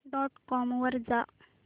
dot com वर जा